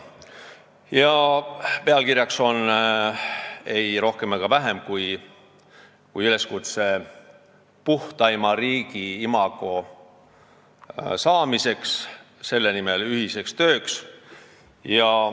Pealkirjaks on ei rohkem ega vähem kui üleskutse "Puhtaima riigi imago saamiseks, selle nimel ühiseks tööks".